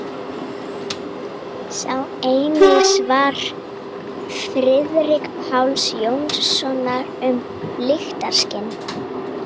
Sjá einnig svar Friðrik Páls Jónssonar um lyktarskyn.